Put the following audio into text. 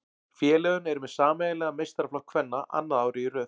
Félögin eru með sameiginlegan meistaraflokk kvenna annað árið í röð.